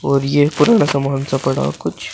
और ये पुराना सामान पड़ा कुछ--